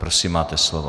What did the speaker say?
Prosím, máte slovo.